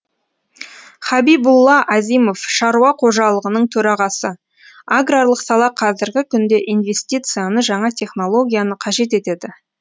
хабибулла азимов шаруа қожалығының төрағасы аграрлық сала қазіргі күнде инвестицияны жаңа технологияны қажет етеді